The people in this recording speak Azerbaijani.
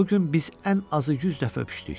O gün biz ən azı 100 dəfə öpüşdük.